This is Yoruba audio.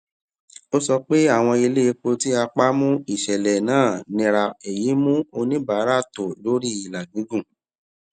ó sọ pé àwọn iléepo tí a pa mú ìṣẹlẹ náà nira èyí mú oníbàárà tò lórí ìlà gígún